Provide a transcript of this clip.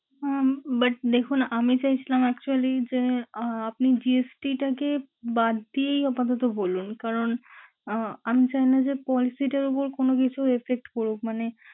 উম But দেখুন আমি চাইছিলাম actually যে, আহ আপনি GST টাকে বাদ দিয়েই আপাতত বলুন। কারণ আহ আমি চাইনা যে consit এর উপর কোন কিছুর effect পরুক। মানে,